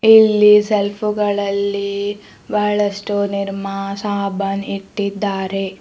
ಇಲ್ಲಿ ಸೆಲ್ಫು ಗಳಲ್ಲಿ ಬಹಳಷ್ಟು ನಿರ್ಮಾ ಸಾಬನ್ ಇಟ್ಟಿದ್ದಾರೆ .